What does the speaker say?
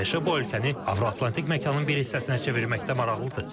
ABŞ bu ölkəni Avro-Atlantik məkanın bir hissəsinə çevirməkdə maraqlıdır.